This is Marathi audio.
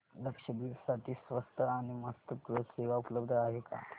लक्षद्वीप साठी स्वस्त आणि मस्त क्रुझ सेवा उपलब्ध आहे का